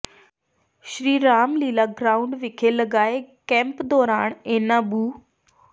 ਸ਼੍ਰੀ Ram Leela ground ਵਿਖੇ ਲਗਾਏ camp ਦੌਰਾਨ ਇਨ੍ਹਾਂ ਬੂ